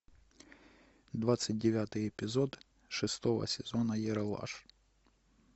двадцать девятый эпизод шестого сезона ералаш